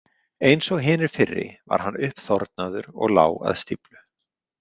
Eins og hinir fyrri var hann uppþornaður og lá að stíflu.